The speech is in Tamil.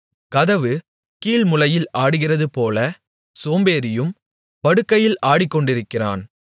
கதவு கீல்முளையில் ஆடுகிறதுபோல சோம்பேறியும் படுக்கையில் ஆடிக்கொண்டிருக்கிறான்